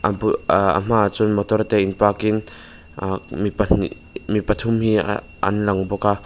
bul ahh a hma ah chuan motor te park in ahh mi pahnih mi pathum hi ahh anlang bawk a.